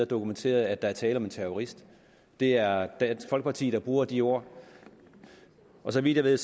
dokumenteret at der er tale om en terrorist det er dansk folkeparti der bruger det ord så vidt jeg ved